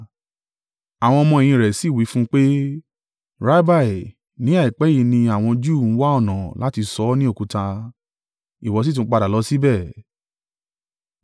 Àwọn ọmọ-ẹ̀yìn rẹ̀ sì wí fún un pé, “Rabbi, ní àìpẹ́ yìí ni àwọn Júù ń wá ọ̀nà láti sọ ọ́ ní òkúta; ìwọ sì tún padà lọ síbẹ̀?”